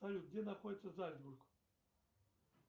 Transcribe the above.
салют где находится зальцбург